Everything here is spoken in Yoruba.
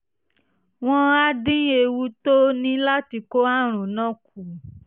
wọ́n á dín ewu tó o ní láti kó àrùn náà kù